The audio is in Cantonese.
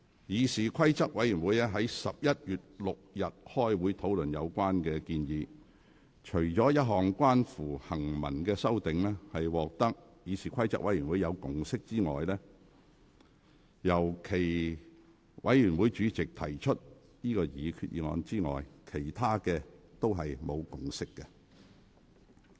議事規則委員會於11月6日開會討論有關建議，除了一項關乎行文修訂，獲得議事規則委員會的共識，由其委員會主席提出擬議決議案之外，其他所有建議均無共識。